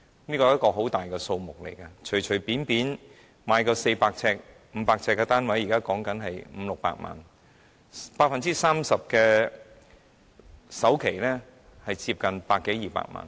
這是很大的數目，因為隨便一個400至500平方呎的單位，現時的樓價約500萬元至600萬元 ，30% 的首期即接近100萬元至200萬元。